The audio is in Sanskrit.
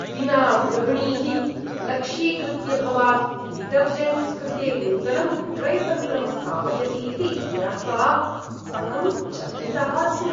विना गृहिणीः लक्ष्यीकृत्य भवान् डिटर्जण्ट्स् कृते नूतनं विक्रयतन्त्रं स्थापयति इति ज्ञात्वा अहं चकितः अस्मि।